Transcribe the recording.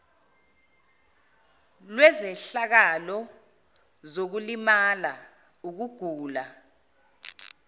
lwezehlakalo zokulimala ukugula